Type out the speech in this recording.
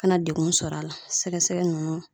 Kana degun sɔrɔ a la sɛgɛsɛgɛ nunnu